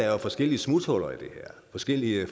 er forskellige smuthuller i det her forskellige